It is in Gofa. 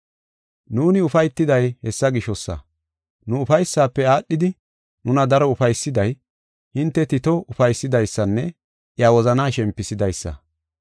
Nuuni ufaytiday hessa gishosa. Nu ufaysaafe aadhidi nuna daro ufaysiday, hinte Tito ufaysidaysanne iya wozanaa shempisidaysa.